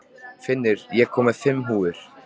Finnur, ég kom með fimm húfur!